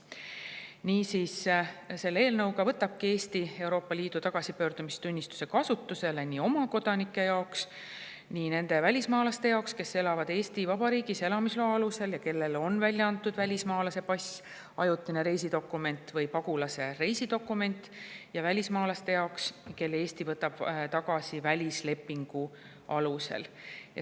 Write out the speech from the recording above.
Niisiis, selle eelnõu kohaselt võtabki Eesti Euroopa Liidu tagasipöördumistunnistuse kasutusele nii oma kodanike jaoks, nii nende välismaalaste jaoks, kes elavad Eesti Vabariigis elamisloa alusel ja kellele on välja antud välismaalase pass, ajutine reisidokument või pagulase reisidokument, ja välismaalaste jaoks, kelle Eesti võtab tagasi välislepingu alusel.